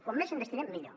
com més en destinem millor